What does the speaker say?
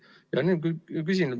Ja nüüd küsimus.